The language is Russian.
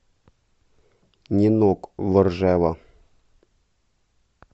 нинок воржева